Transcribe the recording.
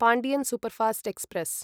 Pandian superfast express